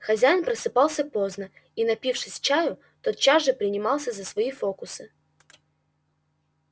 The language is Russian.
хозяин просыпался поздно и напившись чаю тотчас же принимался за свои фокусы